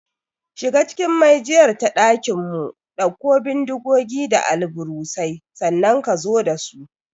Shiga cikin maijiyar ta ɗakinmu, ɗauko bindigogi da alburusai, sannan ka zo da su!